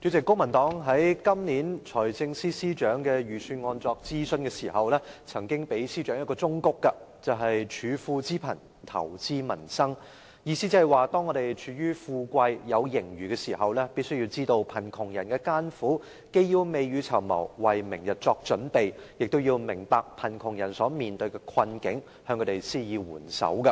主席，公民黨在今年財政司司長就財政預算案進行諮詢時，曾經給予司長一個忠告，便是"處富知貧，投資民生"，意思是當我們處於富貴，有盈餘時，必須知道貧窮人的艱苦，既要未雨綢繆，為明天作準備，亦要明白貧窮人所面對的困境，向他們施以援手。